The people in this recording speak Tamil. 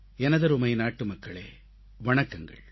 எனதருமை நாட்டுமக்களே வணக்கங்கள்